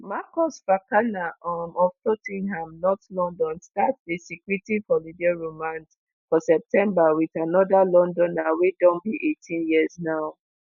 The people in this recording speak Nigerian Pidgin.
marcus fakana um of tot ten ham north london start di secretive holiday romance for september wit anoda londoner wey don be 18 years now.